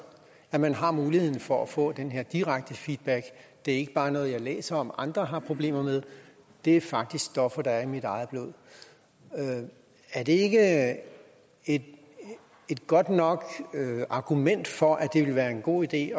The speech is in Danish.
at man har muligheden for at få den her direkte feedback det er ikke bare noget man læser om at andre har problemer med det er faktisk stoffer der er i ens eget blod er det ikke et godt nok argument for at det ville være en god idé